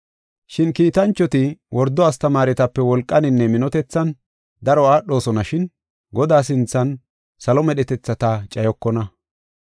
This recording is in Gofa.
Shin kiitanchoti wordo astamaaretape wolqaninne minotethan daro aadhosonashin Godaa sinthan salo medhetethata cayokona.